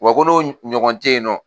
Wa ko n'o ɲɔgɔn tɛ yen nɔ